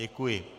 Děkuji.